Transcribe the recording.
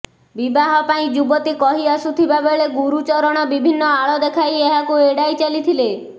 ବିବାହ ପାଇଁ ଯୁବତୀ କହି ଆସୁଥିବାବେଳେ ଗୁରୁଚରଣ ବିଭିନ୍ନ ଆଳ ଦେଖାଇ ଏହାକୁ ଏଡାଇ ଚାଲିଥିଲେ